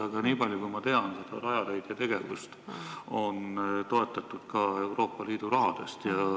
Aga nii palju, kui ma tean, on Rajaleidja tegevust toetatud ka Euroopa Liidu rahaga.